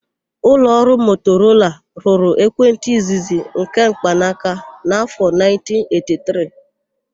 Ụlọọrụ Motorola rụrụ ekwentị izizi nke mkpanaka n'afọ 1983.